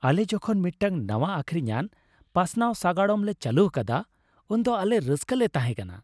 ᱟᱞᱮ ᱡᱚᱠᱷᱚᱱ ᱢᱤᱫᱴᱟᱝ ᱱᱟᱶᱟ ᱟᱹᱠᱷᱨᱤᱧᱟᱱ ᱯᱟᱥᱱᱟᱣ ᱥᱟᱜᱟᱲᱚᱢ ᱞᱮ ᱪᱟᱹᱞᱩ ᱟᱠᱟᱫᱟ, ᱩᱱᱫᱚ ᱟᱞᱮ ᱨᱟᱹᱥᱠᱟᱞᱮ ᱛᱟᱦᱮᱸ ᱠᱟᱱᱟ ᱾